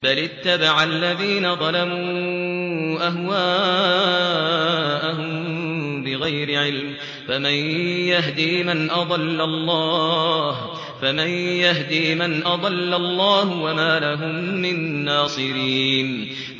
بَلِ اتَّبَعَ الَّذِينَ ظَلَمُوا أَهْوَاءَهُم بِغَيْرِ عِلْمٍ ۖ فَمَن يَهْدِي مَنْ أَضَلَّ اللَّهُ ۖ وَمَا لَهُم مِّن نَّاصِرِينَ